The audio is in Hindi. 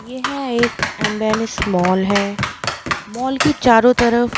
ये है एक अंबेनीश मॉल है मॉल के चारों तरफ --